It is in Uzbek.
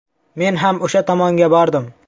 Men ham o‘sha tomonga bordim.